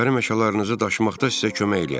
Nökərim eşələrinizi daşımaqda sizə kömək eləyər.